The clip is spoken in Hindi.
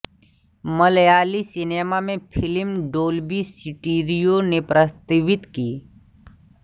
मलयाली सिनेमा में फ़िल्म डोल्बी स्टीरियो ने प्रस्तावित की